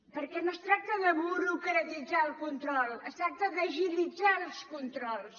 perquè no es tracta de burocratitzar el control es tracta d’agilitzar els controls